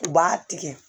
U b'a tigɛ